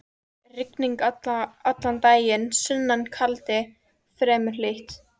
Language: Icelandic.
Rigning allan daginn, sunnan kaldi, fremur hlýtt.